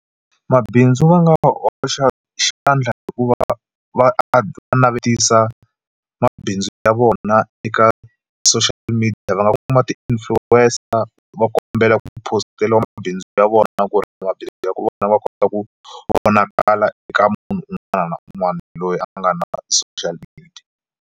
Mabindzu va nga hoxa xandla hi ku va va navetisa mabindzu ya vona eka social media va nga kuma ti-influencer va kombela ku phosteriwa mabindzu ya vona na ku ri mabindzu ya vona va kota ku vonakala eka munhu un'wana na un'wana loyi a nga na social media.